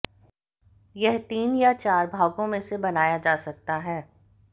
यह तीन या चार भागों में से बनाया जा सकता है